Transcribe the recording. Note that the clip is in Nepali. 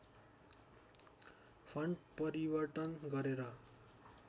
फन्ट परिवर्तन गरेर